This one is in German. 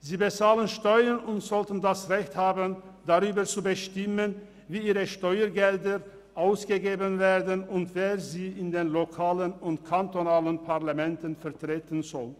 Sie bezahlen Steuern und sollten das Recht haben, darüber zu bestimmen, wofür ihre Steuergelder ausgegeben werden und wer sie in den lokalen und kantonalen Parlamenten vertreten soll.